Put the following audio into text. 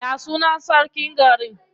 Ya sunan sarkin garin?